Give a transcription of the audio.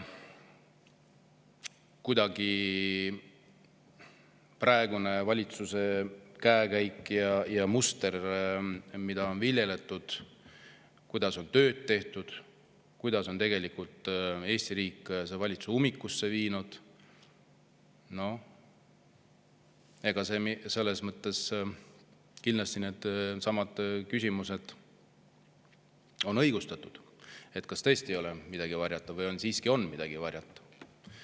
Aga praeguse valitsuse käekäik ja muster, mida on viljeletud, kuidas on tööd tehtud, kuidas see valitsus on Eesti riiki ummikusse viinud – kindlasti need küsimused on õigustatud, et kas tõesti ei ole midagi varjata või siiski on midagi varjata.